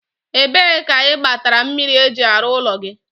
ebee ka ị gbatara mmiri eji arụ ụlọ gị?